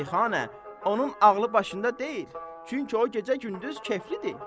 Şeyxanə, onun ağlı başında deyil, çünki o gecə-gündüz keflidir.